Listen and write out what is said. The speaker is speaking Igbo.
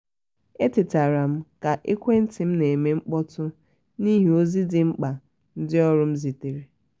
e tetara m ka ekwentị m na eme mkpọtụ n'ihi ozi dị mkpa ndị ọrụ m zitere